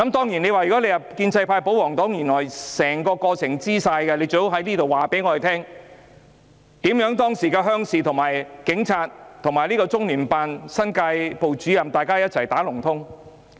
如果建制派、保皇黨知道相關事實，請他們告訴我們，為甚麼當時鄉事委員會、警察和中聯辦新界部主任"打龍通"。